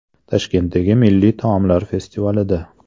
Toshkentdagi milliy taomlar festivalida.